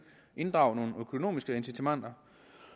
inddrage nogle økonomiske incitamenter